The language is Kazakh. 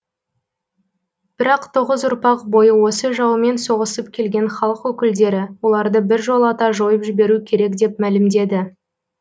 бірақ тоғыз ұрпақ бойы осы жаумен соғысып келген халық өкілдері оларды біржолата жойып жіберу керек деп мәлімдеді